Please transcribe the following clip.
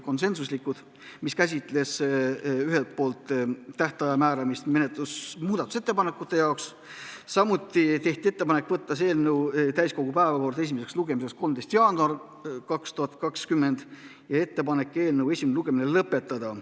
Otsustati teha ettepanek muudatusettepanekute tähtaja kohta, samuti tehti ettepanek võtta eelnõu esimeseks lugemiseks täiskogu 13. jaanuari istungi päevakorda ja esimene lugemine lõpetada.